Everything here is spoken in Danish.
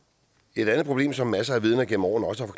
et andet problem som masser af vidner gennem årene også